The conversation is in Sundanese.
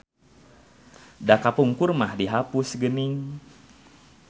Da kapungkur mah dihapus geuning.